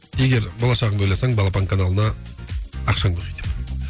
егер болашағыңды ойласаң балапан каналына ақшаңды құй деп